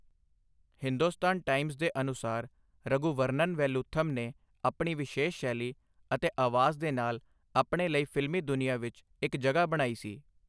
Hindustan Times ਦੇ ਅਨੁਸਾਰ ਰਘੁਵਰਨਨ ਵੈਲੂਥਮ ਨੇ ਆਪਣੀ ਵਿਸ਼ੇਸ਼ ਸ਼ੈਲੀ ਅਤੇ ਆਵਾਜ਼ ਦੇ ਨਾਲ ਆਪਣੇ ਲਈ ਫ਼ਿਲਮੀ ਦੁਨੀਆਂ ਵਿੱਚ ਇੱਕ ਜਗ੍ਹਾ ਬਣਾਈ ਸੀ।